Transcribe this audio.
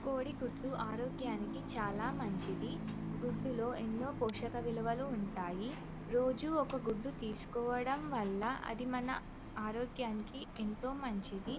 కోడి గుడ్డు ఆరోగ్యం కి చాల మంచిది కోడి గుడ్డులో ఎన్నో పోషక విలువలు ఉంటాయి రోజు ఒక గుడ్డు తీసుకోవడం వాళ్ళ ఆరోగ్యం కి ఎంతో మంచిది --.